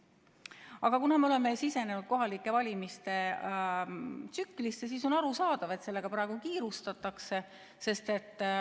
Aga kuna me oleme sisenenud kohalike valimiste tsüklisse, siis on arusaadav, et sellega praegu kiirustatakse.